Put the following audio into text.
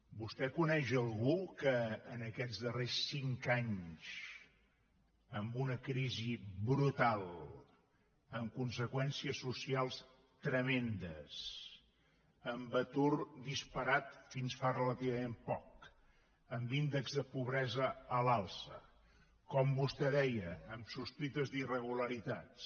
vostè coneix algú que en aquests darrers cinc anys amb una crisi brutal amb conseqüències socials tremendes amb atur disparat fins fa relativament poc amb índex de pobresa a l’alça com vostè deia amb sospites d’irregularitats